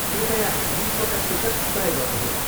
कृपया बिसवटा टिकट तय गर्नुहोला।